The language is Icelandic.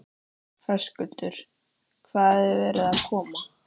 Höskuldur: Hvaðan er verið að koma?